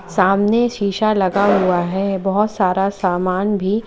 सामने शीशा लगा हुआ है बहोत सारा सामान भी--